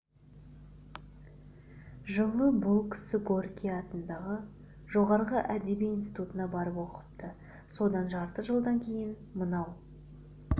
жылы бұл кісі горький атындағы жоғарғы әдеби институтына барып оқыпты содан жарты жылдан кейін мынау